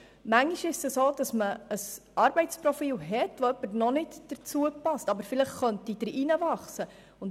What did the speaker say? Manchmal hat man ein Arbeitsprofil, zu dem eine Person noch nicht passt, aber vielleicht in dieses hineinwachsen könnte.